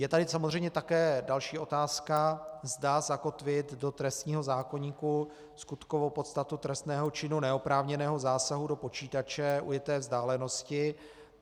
Je tady samozřejmě také další otázka, zda zakotvit do trestního zákoníku skutkovou podstatu trestného činu neoprávněného zásahu do počítače ujeté vzdálenosti.